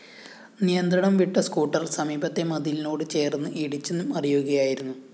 നിയന്ത്രണം വിട്ട സ്കൂട്ടർ സമീപത്തെ മതിലിനോട് ചേര്‍ന്ന് ഇടിച്ചു മറിയുകയായിരുന്നു